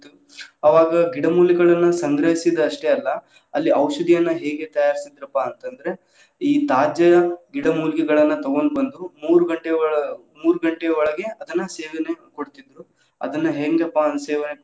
ಅವಾಗ ಗಿಡಮೂಲಿಕೆಗಳನ್ನ ಸಂಗ್ರಹಿಸಿದ್ ಅಷ್ಟೇ ಅಲ್ಲಾ‌, ಅಲ್ಲಿ ಔಷಧಿಯನ್ನ ಹೇಗೆ ತಯಾರಿಸಿದ್ರಪ್ಪಾ ಅಂತಂದ್ರ, ಈ ತಾಜ ಗಿಡಮೂಲಿಕೆಗಳನ್ನ ತಗೊಂಡ್ ಬಂದ್ರು ಮೂರ ಘಂಟೆ ಒ~ ಮೂರ್ ಘಂಟೆ ಒಳ~ ಮೂರ್ ಘಂಟೆ ಒಳಗ ಸೇವನೆ ಕೊಡತಿದ್ರು ಅದನ್ನ ಹೆಂಗಪ್ಪಾ ಸೇವನೆ.